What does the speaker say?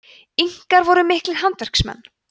inkar voru miklir handverksmenn